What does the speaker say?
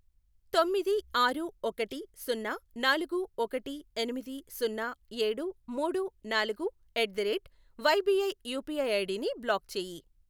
తొమ్మిది ఆరు ఒకటి సున్నా నాలుగు ఒకటి ఎనిమిది సున్నా ఏడు మూడు నాలుగు ఎట్దరేట్ వైబిఐ యూపీఐ ఐడిని బ్లాక్ చేయి.